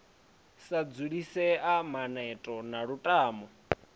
sa dzulisea maneto na lutamo